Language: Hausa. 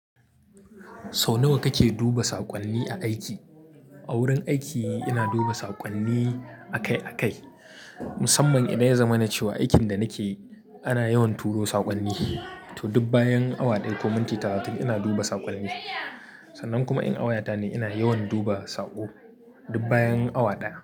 Sau nawa kake duba saƙonni a aiki? A wurin aiki ina duba saƙonni akai-akai, musamman idan ya zama na cewa aikin da nake yi ana yawan turo saƙonni. To, dub bayan awa ɗaya ko minti talatin ina duba saƙonni. Sannan kuma in awaya ta ne, ina yawan duba saƙo dub bayan awa ɗaya.